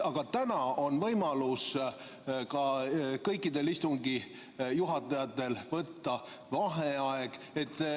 Aga täna on võimalus kõikidel istungi juhatajatel võtta vaheaeg.